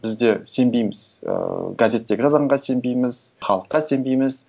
біз де сенбейміз ыыы газеттегі жазғанға сенбейміз халыққа сенбейміз